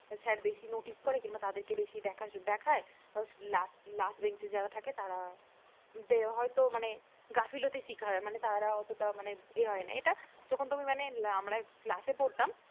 Sir বেশি notice করে কিংবা তাদেরকে বেশি দেখায় last bench এ যারা থাকে তাদের তারা হয়ত মানে গাফিলতির শিকার হয় মানে তারা অতটা মানে ইয়ে হয় না। এটা যখন তুমি মানে আমরা ক্লাসে পড়তাম